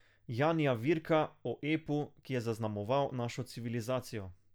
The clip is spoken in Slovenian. Janija Virka, o epu, ki je zaznamoval našo civilizacijo.